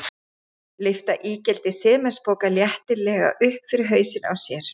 Lyfta ígildi sementspoka léttilega upp fyrir hausinn á sér.